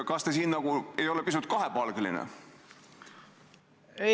Kas te siin ei ole pisut nagu kahepalgeline?